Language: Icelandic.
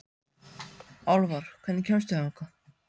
Álfar, hvernig kemst ég þangað?